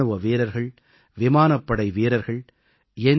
இராணுவ வீரர்கள் விமானப்படை வீரர்கள் என்